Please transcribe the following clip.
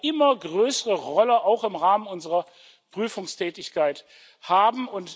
Das wird eine immer größere Rolle auch im Rahmen unserer Prüfungstätigkeit haben.